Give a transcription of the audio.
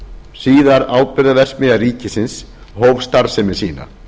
síðar áburðarverksmiðja ríkisins hóf starfsemi sína